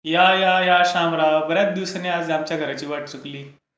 या, या, या शामराव. बर् याच दिवसांनी आज आमच्या घराची वाट चुकली.